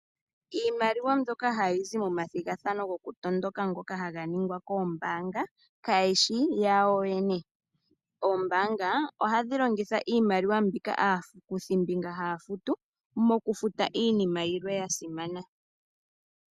Iimaliwa mbyoka hayizi momathigathano goku tondoka ngoka haga ningwa koombaanga kayishi yawo yoyene. Oombanga ohadhi longitha mbika aakuthimbinga haya futu mokufuta iinima yilwe yasimana.